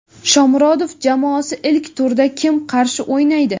Shomurodov jamoasi ilk turda kim qarshi o‘ynaydi?.